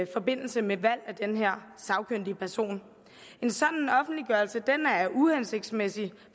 forbindelse med valg af den her sagkyndige person en sådan offentliggørelse er uhensigtsmæssig